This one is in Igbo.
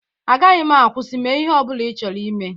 Agaghị m akwụsị. Mee ihe ọ bụla ị chọrọ ime.